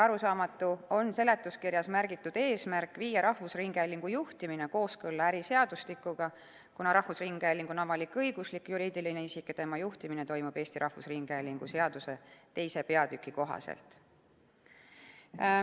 Arusaamatu on seletuskirjas märgitud eesmärk viia rahvusringhäälingu juhtimine kooskõlla äriseadustikuga, kuna rahvusringhääling on avalik-õiguslik juriidiline isik ja tema juhtimine toimub Eesti Rahvusringhäälingu seaduse 2. peatüki kohaselt.